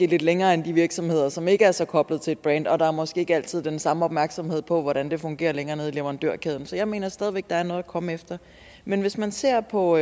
lidt længere end de virksomheder som ikke er så koblet op til et brand og der er måske ikke altid den samme opmærksomhed på hvordan det fungerer længere nede i leverandørkæden så jeg mener stadig væk at der er noget at komme efter men hvis man ser på